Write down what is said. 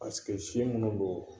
si munnu do